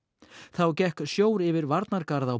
þá gekk sjór yfir varnargarð á